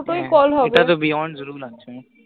দুটোই call হবে, ইটা তো beyond rule আছে